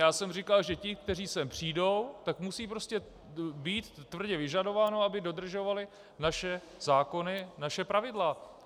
Já jsem říkal, že ti, kteří sem přijdou, tak musí prostě být tvrdě vyžadováno, aby dodržovali naše zákony, naše pravidla.